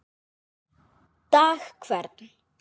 dag hvern